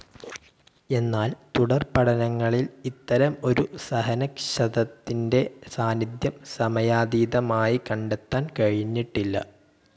എന്നാൽ തുടർപഠനങ്ങളിൽ ഇത്തരം ഒരു സഹനക്ഷതത്തിൻ്റെ സാന്നിധ്യം സമയാതീതമായി കണ്ടെത്താൻ കഴിഞ്ഞിട്ടില്ല.